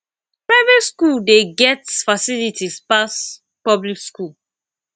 private skool dey get facilities pass public skool